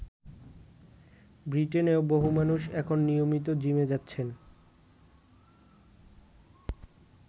ব্রিটেনেও বহু মানুষ এখন নিয়মিত জিমে যাচ্ছেন।